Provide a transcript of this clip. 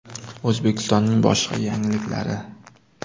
O‘zbekistonning boshqa yangiliklari.